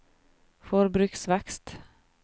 forbruksvekst